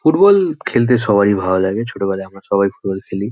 Football খেলতে সবার ই ভালো লাগে। ছোট বেলায় আমরা সবাই ফুটবল খেলি।